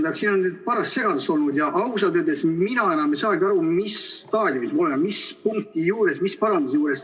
Tähendab, siin on nüüd paras segadus olnud ja ausalt öeldes mina enam ei saagi aru, mis staadiumis me oleme, mis punkti juures, mis paranduse juures.